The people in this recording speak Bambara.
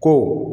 Ko